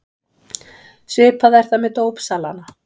Svipað er það með dópsalana.